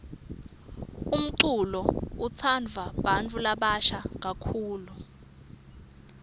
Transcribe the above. umculo utsandvwa bantfu labasha kakhulu